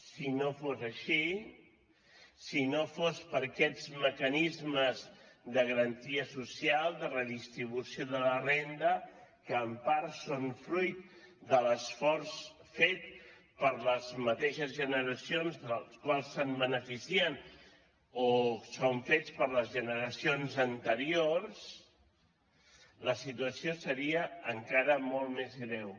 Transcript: si no fos així si no fos per aquests mecanismes de garantia social de redistribució de la renda que en part són fruit de l’esforç fet per les mateixes generacions dels quals es beneficien o són fets per les generacions anteriors la situació seria encara molt més greu